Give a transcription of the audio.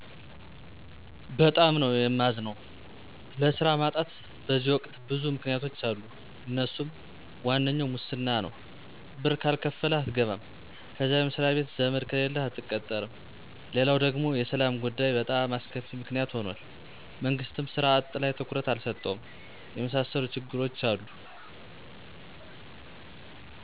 በጣም ነዉ የማዝነዉ። ለስራ ማጣት በዚህ ወቅት ብዙ ምክንያቶች አሉ አነሱም፦ ዋነኛው ሙስና ነው ብር ካልከፈልህ አትገባም፣ ከዛ መስሪያ ቤት ዘመድ ከሌለህ አትቀጠርም፣ ሌላው ደግሞ የሰላም ጉዳይ በጣም አስከፊ ምክንያት ሁኗል፤ መንግስትም ሥራ አጥ ላይ ትኩረት አልሰጠውም። የመሣሠሉ ችግሮች አሉ